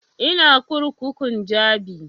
Ina kurkukun jabi